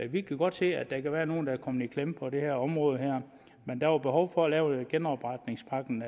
vi kan godt se at der kan være nogle der er kommet i klemme på det her område men der var behov for at lave genopretningspakken